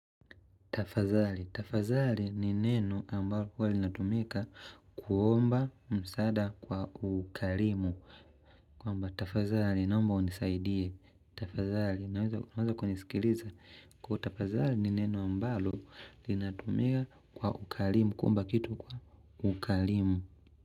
Tafadhali. Tafadhali ni neno ambalo huwa linatumika kuomba msaada kwa ukarimu. Kwamba tafadhali naomba unisaidie. Tafadhali. Naweza kunisikiliza. Kuwa tafadhali ni neno ambalo linatumika kwa ukarimu. Kuomba kitu kwa ukarimu.